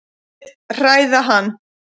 Vil hræða hann.